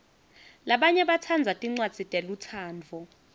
labanye batsandza tincwadzi telutsandvo